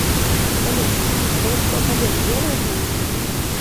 салют голубцов олег делает маникюр